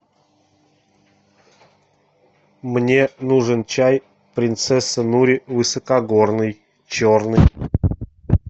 мне нужен чай принцесса нури высокогорный черный